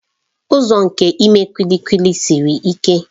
Ụzọ nke ime kulikuli siri ike.